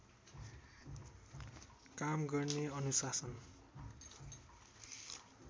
काम गर्ने अनुशासन